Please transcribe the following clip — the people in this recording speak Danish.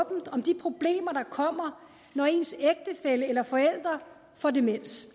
åbent om de problemer der kommer når ens ægtefælle eller forældre får demens